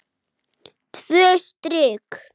Tvö strik.